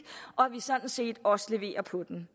og at vi sådan set også leverer på den